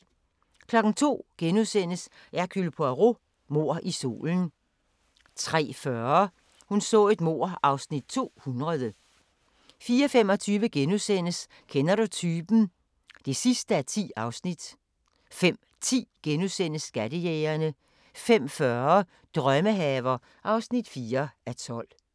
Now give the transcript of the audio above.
02:00: Hercule Poirot: Mord i solen * 03:40: Hun så et mord (Afs. 200) 04:25: Kender du typen? (10:10)* 05:10: Skattejægerne * 05:40: Drømmehaver (4:12)